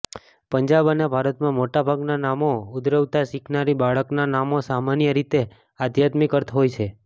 પંજાબ અને ભારતમાં મોટાભાગના નામો ઉદ્ભવતા શીખનારી બાળકના નામો સામાન્ય રીતે આધ્યાત્મિક અર્થ હોય છે